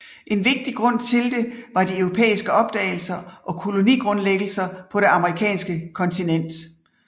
En vigtig grund til det var de europæiske opdagelser og kolonigrundlæggelser på det amerikanske kontinent